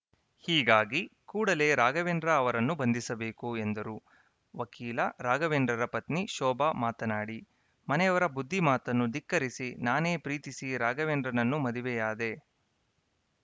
ಹೀಗಾಗಿ ಕೂಡಲೇ ರಾಘವೇಂದ್ರ ಅವರನ್ನು ಬಂಧಿಸಬೇಕು ಎಂದರು ವಕೀಲ ರಾಘವೇಂದ್ರರ ಪತ್ನಿ ಶೋಭಾ ಮಾತನಾಡಿ ಮನೆಯವರ ಬುದ್ಧಿ ಮಾತನ್ನು ಧಿಕ್ಕರಿಸಿ ನಾನೇ ಪ್ರೀತಿಸಿ ರಾಘವೇಂದ್ರನನ್ನು ಮದುವೆಯಾದೆ